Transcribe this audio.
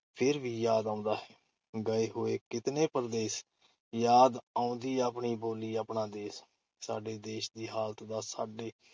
ਫਿਰ ਵੀ ਯਾਦ ਆਉਂਦਾ ਹੈ- ਗਏ ਹੋਏ ਕਿਤਨੇ ਪਰਦੇਸ, ਯਾਦ ਆਉਂਦੀ ਆਪਣੀ ਬੋਲੀ ਆਪਣਾ ਦੇਸ਼, ਸਾਡੇ ਦੇਸ਼ ਦੀ ਹਾਲਤ ਦਾ ਸਾਡੇ